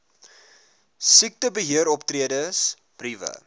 siektebe heeroptredes briewe